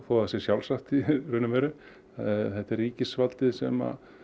þó það sé sjálfsagt í raun og veru það er ríkisvaldið sem